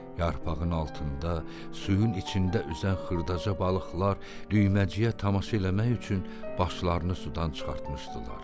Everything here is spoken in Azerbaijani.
Yarpağın altında, suyun içində üzən xırdaca balıqlar düyməciyə tamaşa eləmək üçün başlarını sudan çıxartmışdılar.